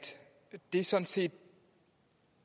det sådan set